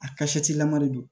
A kasatilama de don